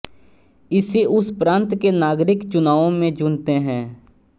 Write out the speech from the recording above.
इसे उस प्रांत के नागरिक चुनावों में चुनते हैं